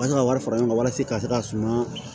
An ka wari fara ɲɔgɔn kan walasa ka se ka suma